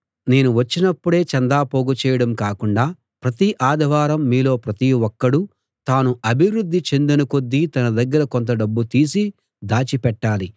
నేను వచ్చినప్పుడే చందా పోగు చేయడం కాకుండా ప్రతి ఆదివారం మీలో ప్రతి ఒక్కడూ తాను అభివృద్ధి చెందిన కొద్దీ తన దగ్గర కొంత డబ్బు తీసి దాచి పెట్టాలి